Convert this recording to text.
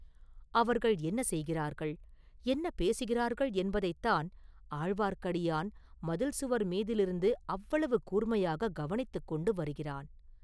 அவர்கள் என்ன செய்கிறார்கள், என்ன பேசுகிறார்கள் என்பதைத் தான் ஆழ்வார்க்கடியான் மதில் சுவர் மீதிலிருந்து அவ்வளவுக் கூர்மையாக கவனித்து கொண்டு வருகிறான்.